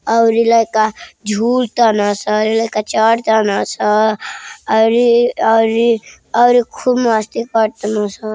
और ये लड़का जुलतान शन। लाइका चढता न सन और औरी खूब मस्ती करत सन।